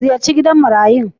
Ka ziyarci gidan marayun.